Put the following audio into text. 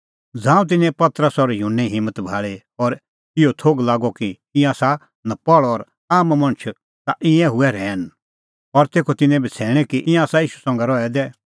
ज़ांऊं तिन्नैं पतरस और युहन्ने हिम्मत भाल़ी और इहअ थोघ लागअ कि ईंयां आसा नपहल़ और आम मणछ ता तिंयां हुऐ रहैन और तेखअ तिन्नैं बछ़ैणैं कि ईंयां आसा ईशू संघै रहै दै